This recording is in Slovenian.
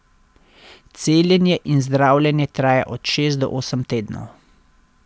Celjenje in zdravljenje traja od šest do osem tednov.